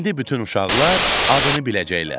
İndi bütün uşaqlar adını biləcəklər.